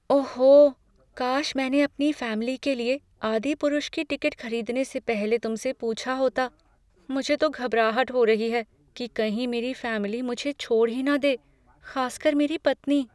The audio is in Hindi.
ओहो! काश मैंने अपनी फैमिली के लिए "आदिपुरुष" की टिकट खरीदने से पहले तुमसे पूछा होता। मुझे तो घबराहट हो रही है कि कहीं मेरी फैमिली मुझे छोड़ ही ना दे, खासकर मेरी पत्नी।